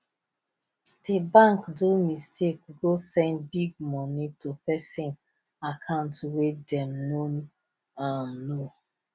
di bank do mistake go send big money to person account wey dem no um know